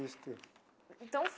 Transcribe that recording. Isto. Então.